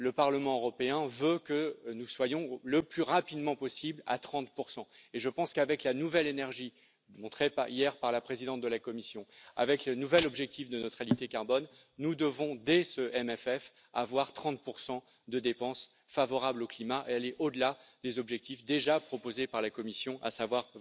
Le Parlement européen veut que nous soyons le plus rapidement possible à 30 et je pense qu'avec la nouvelle énergie montrée hier par la présidente de la Commission, avec le nouvel objectif de neutralité carbone, nous devons, dès ce MFF avoir 30 de dépenses favorables au climat et aller au delà des objectifs déjà proposés par la Commission, à savoir